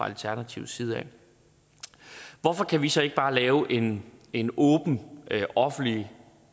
alternativets side hvorfor kan vi så ikke bare lave en en åben offentlig